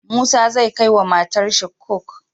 Musa zai kai wa matar shi coke